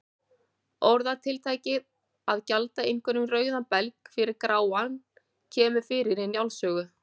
Orðatiltækið að gjalda einhverjum rauðan belg fyrir gráan kemur fyrir í Njáls sögu.